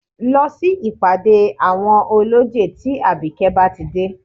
Lọ sí ìpàdé àwọn ọlọ́jẹ̀ tí àbíkẹ́ bá ti dé